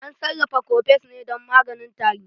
An sarrafa kofes ne dan maganin tari.